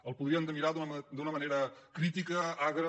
el podríem mirar d’una manera crítica agra